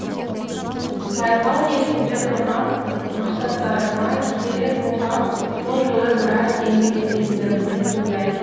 байқау негізінде құрған мақсаттарыма келер болсам бұл жылы біраз еңбектендім деп ойлаймын